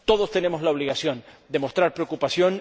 Todos tenemos la obligación de mostrar preocupación.